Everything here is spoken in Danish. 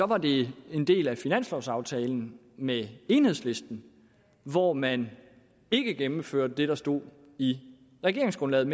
var det en del af finanslovsaftalen med enhedslisten hvor man ikke gennemførte det der stod i regeringsgrundlaget